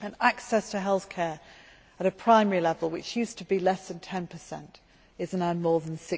Access to healthcare at a primary level, which used to be less than 10 is now more than